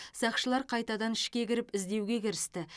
сақшылар қайтадан ішке кіріп іздеуге кірісті